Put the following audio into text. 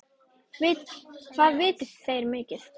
Hvað vita þeir mikið?